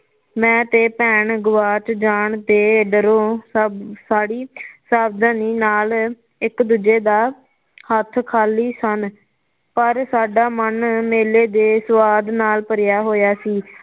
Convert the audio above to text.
ਮੈਂ ਤੇ ਭੈਣ ਗੁਆਚ ਜਾਣ ਤੇ ਡਰੋਂ ਸਭ ਫਾੜੀ ਸਾਵਧਾਨੀ ਨਾਲ ਇੱਕ ਦੂਜੇ ਦਾ ਹੱਥ ਖਾਲੀ ਸਨ ਪਰ ਸਾਡਾ ਮਨ ਮੇਲੇ ਦੇ ਸੁਆਦ ਨਾਲ ਭਰਿਆ ਹੋਈਆ ਸੀ